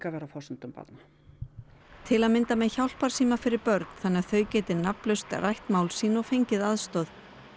að vera á forsendum barna til að mynda með hjálparsíma fyrir börn þannig að þau geti nafnlaust rætt mál sín og fengið aðstoð